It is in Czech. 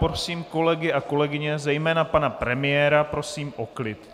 Prosím kolegy a kolegyně, zejména pana premiéra prosím o klid.